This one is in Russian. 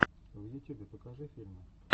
в ютюбе покажи фильмы